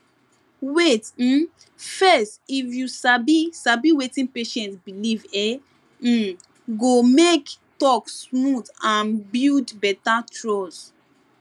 wait um fess if you sabi sabi wetin patient believe e um go make talk smooth and build better trust